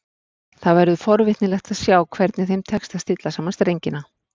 Það verður forvitnilegt að sjá hvernig þeim tekst að stilla saman strengina.